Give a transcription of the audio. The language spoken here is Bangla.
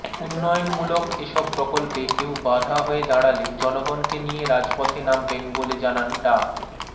উন্নয়ন মূলক এসব প্রকল্পে কেউ বাঁধা হয়ে দাঁড়ালে জনগনকে নিয়ে রাজপথে নামবেন বলে জানান ডা